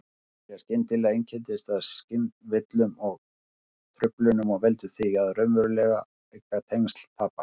Þetta byrjar skyndilega, einkennist af skynvillum og-truflunum og veldur því að raunveruleikatengsl tapast.